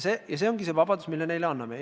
See ongi see vabadus, mille me talle anname.